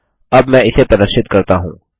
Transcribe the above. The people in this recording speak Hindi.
अब मैं इसे प्रदर्शित करता हूँ